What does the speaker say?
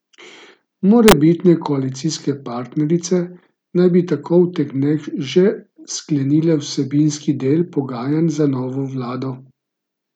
Morebitne koalicijske partnerice naj bi tako v teh dneh že sklenile vsebinski del pogajanj za novo vlado.